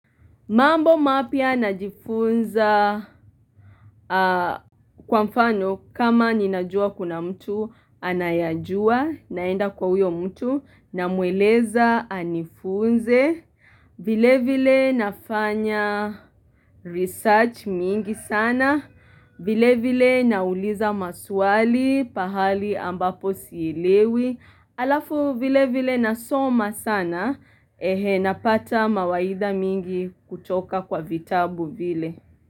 Mambo mapya najifunza kwa mfano kama ninajua kuna mtu anayajua naenda kwa huyo mtu namweleza anifunze. Vile vile nafanya research mingi sana. Vile vile nauliza maswali pahali ambapo sielewi. Alafu vile vile nasoma sana Napata mawaidha mingi kutoka kwa vitabu vile.